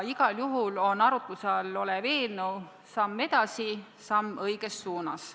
Igal juhul on arutluse all olev eelnõu samm edasi, samm õiges suunas.